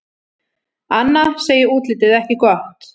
Anna segir útlitið ekki gott.